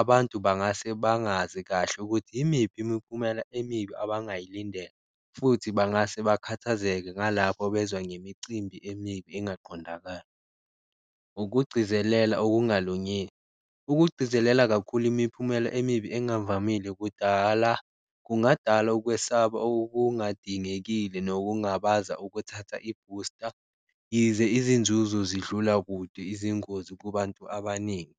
abantu bangase bangazi kahle ukuthi imiphi imiphumela emibi abangayilindela futhi bangase bakhathazekile ngalapho bezwa ngemicimbi emibi engaqondakali. Ukugcizelela okungalungile, ukugcizelela kakhulu imiphumela emibi engavamile kudala kungadala ukwesaba okungadingekile, nokungabaza ukuthatha ibhusta yize izinzuzo zidlula kude izingozi kubantu abaningi.